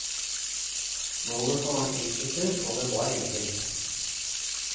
Målet så enkelt ut, og det var enkelt.